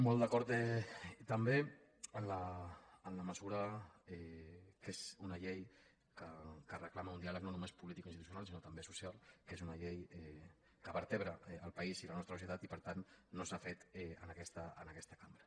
molt d’acord també en la mesura que és una llei que reclama un diàleg no només polític i institucional sinó també social que és una llei que vertebra el país i la nostra societat i per tant no s’ha fet en aquesta cambra